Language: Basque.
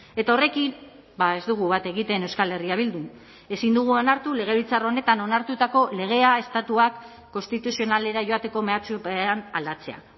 eta horrekin ez dugu bat egiten euskal herria bildun ezin dugu onartu legebiltzar honetan onartutako legea estatuak konstituzionalera joateko mehatxupean aldatzea